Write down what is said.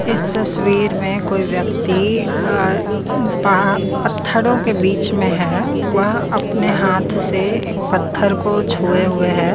इस तस्वीर में कोई व्यक्ति पा पत्थरों के बीच में है वह अपने हाथ से एक पत्थर को छुए हुए है।